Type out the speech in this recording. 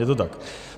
Je to tak?